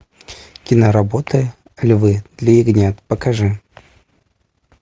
киноработы львы для ягнят покажи